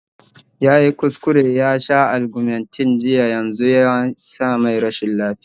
Yayi kuskure yasha Argumentinn jiya yanzu yasa mai rashin lafiya sosai